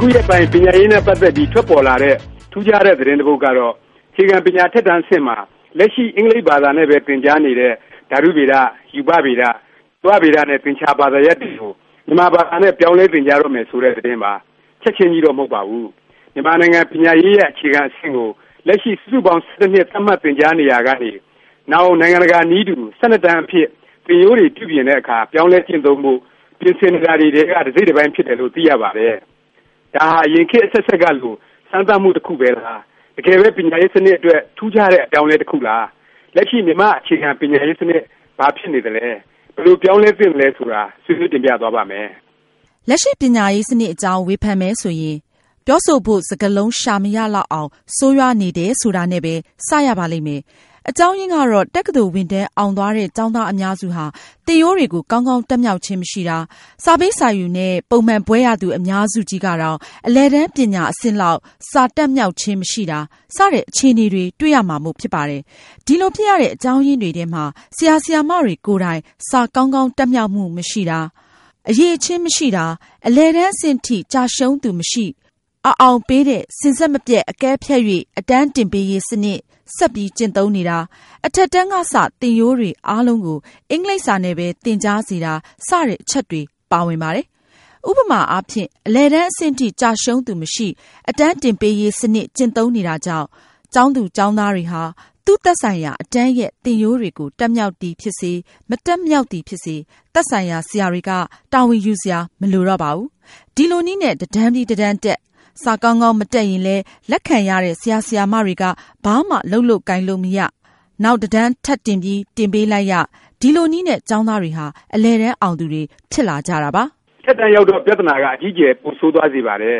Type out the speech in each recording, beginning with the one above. ခုရက်ပိုင်း ပညာရေးနဲ့ ပတ်သက်ပြီး ထွက်ပေါ်လာတဲ့ ထူးခြားတဲ့ သတင်းတစ်ပုဒ်ကတော့ အခြေခံပညာ အထက်တန်းအဆင့်မှာ လက်ရှိ အင်္ဂလိပ်ဘာသာနဲ့ပဲ သင်ကြားနေတဲ့ ဓာတုဗေဒ၊ ရူပဗေဒ၊ ဇီဝဗေဒ နဲ့ သင်္ချာ ဘာသာရပ်တွေကို မြန်မာဘာသာနဲ့ ပြောင်းလဲ သင်ကြားတော့မယ် ဆိုတဲ့ သတင်းပါ။ ချက်ခြင်းကြီးတော့ မဟုတ်ပါဘူး။ မြန်မာနိုင်ငံ ပညာရေး ရဲ့ အခြေခံအဆင့်ကို လက်ရှိ စုစုပေါင်း ၁၁ နှစ် သတ်မှတ် သင်ကြားနေရာကနေ နောင် နိုင်ငံတကာ နည်းတူ ၁၂ တန်းအဖြစ် သင်ရိုးတွေ ပြုပြင်တဲ့အခါ ပြောင်းလဲကျင့်သုံးဖို့ ပြင်ဆင်နေတာတွေထဲက တစ်စိတ် တစ်ပိုင်း ဖြစ်တယ်လို့ သိရပါတယ်။ ဒါဟာ အရင်ခေတ် အဆက်ဆက်ကလို စမ်းသပ်မှု တစ်ခုလား၊ တကယ်ပဲ ပညာရေး စနစ် အတွက် ထူးခြားတဲ့ အပြောင်းအလဲ တစ်ခုလား၊ လက်ရှိ မြန်မာ့အခြေခံ ပညာရေး စနစ် ဘာဖြစ်နေသလဲ၊ ဘယ်လို ပြောင်းလဲ သင့်သလဲဆိုတာ ဆွေးနွေးတင်ပြသွားပါ့မယ်။ လက်ရှိ ပညာရေးစနစ်အကြောင်း ဝေဖန်မယ်ဆိုရင် ပြောဆိုဖို့ စကားလုံး ရှာမရလောက်အောင် ဆိုးရွားနေတယ် ဆိုတာနဲ့ပဲ စ ရပါလိမ့်မယ်။ အကြောင်းရင်းကတော့ တက္ကသိုလ် ဝင်တန်း အောင်သွားတဲ့ ကျောင်းသားအများစုဟာ သင်ရိုးတွေကို ကောင်းကောင်း တတ်မြောက်ခြင်း မရှိတာ၊ စာပေးစာယူနဲ့ ပုံမှန်ဘွဲ့ရသူ အများစုကြီးကတောင် အလယ်တန်း ပညာအဆင့်လောက် စာတတ်မြောက်ခြင်း မရှိတာ စတဲ့ အခြေအနေတွေ တွေ့ရမှာမို့ ဖြစ်ပါတယ်။ ဒီလို ဖြစ်ရတဲ့ အကြောင်းရင်းတွေထဲမှာ ဆရာ၊ ဆရာမတွေ ကိုယ်တိုင် စာကောင်းကောင်း တတ်မြောက်မှု မရှိတာ၊ အရည်အချင်း မရှိတာ၊ အလယ်တန်း အဆင့်အထိ ကျရှုံးသူ မရှိ အ အောင်ပေးတဲ့ “စဉ်ဆက်မပြတ် အကဲဖြတ်၍ အတန်းတင်ပေးရေး စနစ်” ဆက်ပြီး ကျင့်သုံးနေတာ၊ အထက်တန်းကစ သင်ရိုးတွေ အားလုံးကို အင်္ဂလိပ်စာနဲ့ပဲ သင်ကြားစေတာ စတဲ့ အချက်တွေ ပါဝင်ပါတယ်။ ဥပမာအားဖြင့် အလယ်တန်း အဆင့်ထိ ကျရှုံးသူမရှိ အတန်းတင်ပေးရေး စနစ် ကျင့်သုံးနေတာကြောင့် ကျောင်းသား ကျောင်းသူတွေဟာ သူ့ သက်ဆိုင်ရာ အတန်းရဲ့ သင်ရိုးတွေကို တတ်မြောက်သည် ဖြစ်စေ၊ မတတ်မြောက်သည်ဖြစ်စေ၊ သက်ဆိုင်ရာ ဆရာတွေက တာဝန်ယူစရာ မလိုတော့ပါဘူး။ ဒီလိုနည်းနဲ့ တစ်တန်းပြီး တစ်တန်းတက်၊ စာကောင်းကောင်း မတတ်ရင်လည်း လက်ခံရတဲ့ ဆရာ ဆရာမတွေက ဘာမှ လုပ်လို့ ကိုင်လို့ မရ၊ နောက် တစ်တန်း ထပ်ပြီး တင်ပေးလိုက်ရ၊ ဒီလိုနည်းနဲ့ ကျောင်းသားတွေဟာ အလယ်တန်း အောင်သူတွေ ဖြစ်လာကြတာပါ။ အထက်တန်း ရောက်တော့ ပြဿနာက အကြီးအကျယ် ပိုဆိုးသွားစေပါတယ်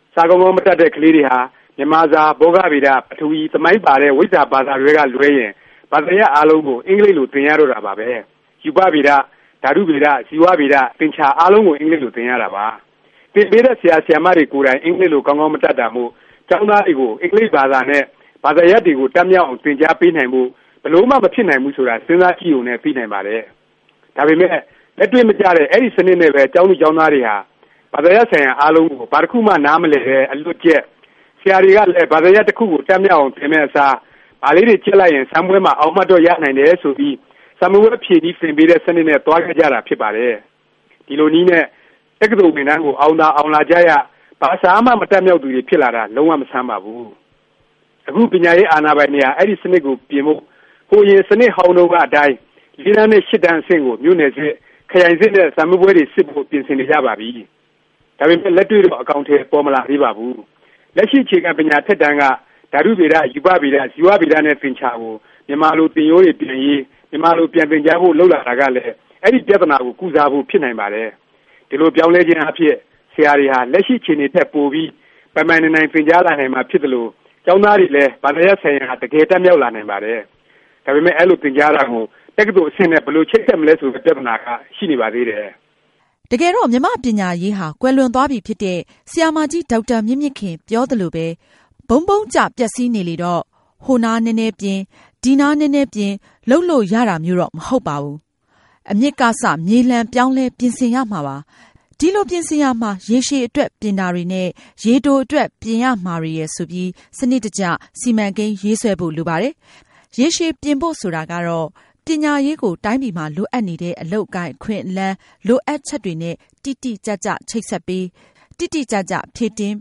။ စာကောင်းကောင်း မတတ်တဲ့ ကလေးတွေဟာ မြန်မာစာ၊ ဘောဂဗေဒ၊ ပထဝီ သမိုင်း ပါတဲ့ ဝိဇ္ဇာဘာသာတွဲက လွဲရင် ဘာသာရပ် အားလုံးကို အင်္ဂလိပ်လို သင်ရတော့တာပါပဲ။ ရူပဗေဒ၊ ဓာတုဗေဒ၊ ဇီဝဗေဒ၊ သင်္ချာ အားလုံး အင်္ဂလိပ်လို သင်ရတာပါ။ သင်ပေးတဲ့ ဆရာ ဆရာမတွေကိုယ်တိုင် အင်္ဂလိပ်လို ကောင်းကောင်း မတတ်တာမို့ ကျောင်းသားတွေကို အင်္ဂလိပ်ဘာသာနဲ့ ဘာသာရပ်တွေကို တတ်မြောက်အောင် သင်ကြားပေးနိုင်ဖို့ ဘယ်လိုမှ မဖြစ်နိုင်ဘူး ဆိုတာ စဉ်းစားကြည့်ရုံနဲ့ သိနိုင်ပါတယ်။ ဒါပေမယ့် လက်တွေ့မကျတဲ့ အဲဒီ စနစ်နဲ့ပဲ ကျောင်းသူကျောင်းသားတွေဟာ ဘာသာရပ်ဆိုင်ရာ အားလုံးကို ဘာတစ်ခုမှ နားမလည်ပဲ အလွတ်ကျက်၊ ဆရာတွေကလည်း ဘသာရပ် တစ်ခုကို တတ်မြောက်အောင် သင်မယ့်အစား ဘာလေးတွေ ကျက်လိုက်ရင် စာမေးပွဲမှာ အောင်မှတ်တော့ ရနိုင်တယ် ဆိုပြီး စာမေးပွဲ ဖြေနည်း သင်ပေးတဲ့ စနစ်နဲ့ သွားခဲ့ကြတာ ဖြစ်ပါတယ်။ ဒီလိုနည်းနဲ့ တက္ကသိုလ်ဝင်တန်းကို အောင်သာ အောင်လာကြရ၊ ဘာစာမှ မတတ်မြောက်သူတွေ ဖြစ်လာတာ လုံး၀ မဆန်းပါဘူး။ အခု ပညာရေး အာဏာပိုင်တွေဟာ အဲဒီ စနစ်ကို ပြင်ဖို့ ဟိုအရင် စနစ်ဟောင်းတုန်းက အတိုင်း ၄ တန်းနဲ့ ၈ တန်း အဆင့်ကို မြို့နယ်စစ်၊ ခရိုင်စစ်နဲ့ စာမေးပွဲတွေ စစ်ဖို့ ပြင်ဆင်နေကြပါပြီ။ ဒါပေမယ့် လက်တွေ့တော့ အကောင်အထည် ပေါ်မလာသေးပါဘူး။ လက်ရှိ အခြေခံပညာ အထက်တန်းက ဓာတုဗေဒ၊ ရူပဗေဒ၊ ဇီဝဗေဒ နဲ့ သင်္ချာ ကို မြန်မာလို သင်ရိုးတွေ ပြန်ရေး၊ မြန်မာလို ပြန်သင်ကြားဖို့ လုပ်လာတာကလည်း အဲဒီ ပြဿနာကို ကုစားဖို့ ဖြစ်နိုင်ပါတယ်။ ဒီလို ပြောင်းလဲခြင်းအားဖြင့် ဆရာတွေဟာ လက်ရှိ အခြေအနေထက် ပိုပြီး ပိုင်ပိုင်နိုင်နိုင် သင်ကြားလာနိုင်မှာ ဖြစ်သလို ကျောင်းသားတွေလည်း ဘာသာရပ်ဆိုင်ရာကို တကယ် တတ်မြောက်လာနိုင်ပါတယ်။ ဒါပေမယ့် အဲလို သင်ကြားတာကို တက္ကသိုလ် အဆင့်နဲ့ ဘယ်လို ချိတ်ဆက်မလဲ ဆိုတဲ့ဲ ပြဿနာက ရှိနေပါသေးတယ်။ တကယ်တော့ မြန်မာ့ပညာရေးဟာ ကွယ်လွန်သွားပြီဖြစ်တဲ့ ဆရာမကြီး ဒေါက်တာ မြင့်မြင့်ခင် ပြောသလိုပဲ ဗုန်းဗုန်းကျ ပျက်စီးနေလေတော့ ဟိုနားနည်းနည်းပြင် ဒီနားနည်းနည်းပြင် လုပ်လို့ ရတာမျိုးတော့ မဟုတ်ပါဘူး။ အမြစ်ကစ မြေလှန်ပြောင်းလဲ ပြင်ဆင်ရမှာပါ။ ဒီလို ပြင်ဆင်ရာမှာ ရေရှည် အတွက် ပြင်တာတွေနဲ့ ရေတို အတွက် ပြင်ရမှာတွေရယ် ဆိုပြီး စနစ်တကျ စီမံကိန်း ရေးဆွဲဖို့ လိုပါတယ်။ ရေရှည် ပြင်ဖို့ ဆိုတာကတော့ ပညာရေးကို တိုင်းပြည်မှာ လိုအပ်နေတဲ့ အလုပ်အကိုင် အခွင့်အလမ်း လိုအပ်ချက်တွေနဲ့ တိတိကျကျ ချိတ်ဆက်ပေး၊ တိတိကျကျ ဖြည့်တင်း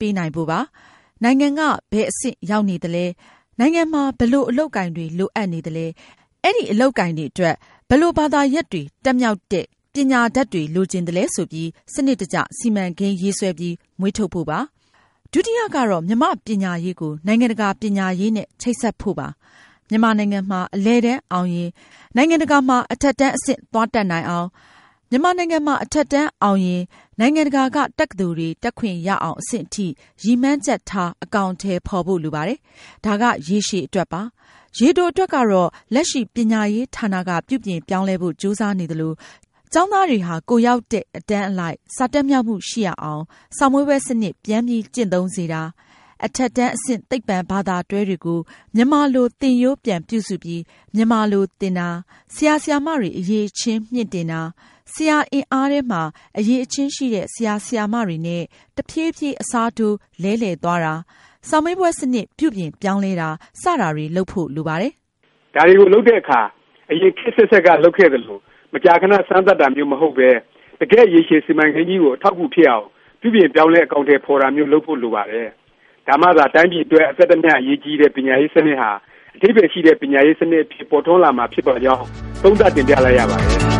ပေးနိုင်ဖို့ပါ။ နိုင်ငံက ဘယ်အဆင့် ရောက်နေသလဲ၊ နိုင်ငံမှာ ဘယ်လို အလုပ်အကိုင်တွေ လိုအပ်နေသလဲ၊ အဲဒီ အလုပ်အကိုင်တွေအတွက် ဘယ်လို ဘာသာရပ်တွေ တတ်မြောက်တဲ့ ပညာတတ်တွေ လိုချင်သလဲ ဆိုပြီး စနစ်တကျ စီမံကိန်းရေးဆွဲပြီး မွေးထုတ်ဖို့ပါ။ ဒုတိယ ကတော့ မြန်မာ့ပညာရေးကို နိုင်ငံတကာ ပညာရေးနဲ့ ချိတ်ဆက်ဖို့ပါ။ မြန်မာနိုင်ငံမှာ အလယ်တန်းအောင်ရင် နိုင်ငံတကာမှာ အထက်တန်း အဆင့် သွားတက်နိုင်အောင်၊ မြန်မာနိုင်ငံမှာ အထက်တန်းအောင်ရင် နိုင်ငံတကာက တက္ကသိုလ်တွေ တက်ခွင့်ရအောင် အဆင့်အထိ ရည်မှန်းချက်ထား အကောင်အထည် ဖော်ဖို့ လိုပါတယ်။ ဒါက ရေရှည် အတွက်ပါ။ ရေတိုအတွက်ကတော့ လက်ရှိ ပညာရေး ဌာနက ပြုပြင်ပြောင်းလဲဖို့ ကြိုးစားနေသလို ကျောင်းသားတွေဟာ ကိုယ်ရောက်တဲ့ အတန်းအလိုက် စာတတ်မြောက်မှု ရှိရအောင် စာမေးပွဲ စနစ် ပြန်ပြီး ကျင့်သုံးစေတာ၊ အထက်တန်း အဆင့် သိပ္ပံ ဘာသာတွဲတွေကို မြန်မာလို သင်ရိုး ပြန်ပြုစုပြီး မြန်မာလို သင်တာ၊ ဆရာ ဆရာမတွေ အရည်အချင်းမြှင့်တင်တာ၊ ဆရာအင်အားထဲမှာ အရည်အချင်းရှိတဲ့ ဆရာဆရာမတွေနဲ့ တဖြေးဖြေး အစားထိုး လဲလှယ်သွားတာ၊ စာမေးပွဲ စနစ် ပြုပြင်ပြောင်းလဲတာ စတာတွေ လုပ်ဖို့ လိုပါတယ်။ ဒါတွေကို လုပ်တဲ့အခါ အရင် ခေတ်အဆက်ဆက်က လုပ်ခဲ့သလို မကြာခဏ စမ်းသပ်တာမျိုး မဟုတ်ပဲ တကယ့် ရေရှည် စီမံကိန်းကြီးကို အထောက်အကူ ဖြစ်အောင် ပြုပြင်ပြောင်းလဲ အကောင်အထည် ဖော်တာမျိုး လုပ်ဖို့ လိုပါတယ်။ ဒါမှသာ တိုင်းပြည်အတွက် အသက်တမျှ အရေးကြီးတဲ့ ပညာရေး စနစ်ဟာ အဓိပ္ပာယ်ရှိတဲ့ ပညာရေးစနစ် အဖြစ် ပေါ်ထွန်းလာမှာ ဖြစ်ပါကြောင်း သုံးသပ်တင်ပြလိုက်ရပါတယ်